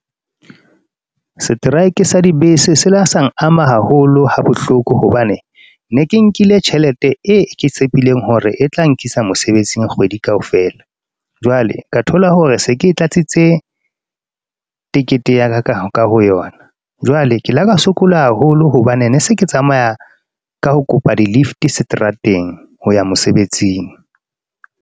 Setraeke sa dibese, se la sang ama haholo ha bohloko hobane, ne ke nkile tjhelete e ke tshepileng hore e tla nkisa mosebetsing kgwedi kaofela. Jwale ka thola hore se ke tlatsitse tekete ya ka, ka ho yona jwale ke la ka sokola haholo hobane ne se ke tsamaya ka ho kopa di-lift seterateng ho ya mosebetsing.